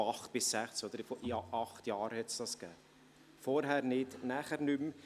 Von 2008 bis 2016, also während acht Jahre, hat es diesen gegeben, zuvor nicht und danach auch nicht mehr.